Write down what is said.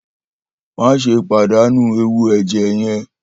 Maṣe padanu ẹwu ẹjẹ yẹn!